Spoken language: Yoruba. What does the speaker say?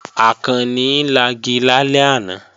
Àkànni lagi lálẹ́ àná